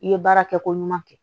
I ye baara kɛ ko ɲuman kɛ